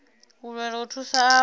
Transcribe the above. u lwela u thusa avho